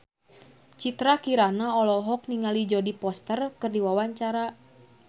Citra Kirana olohok ningali Jodie Foster keur diwawancara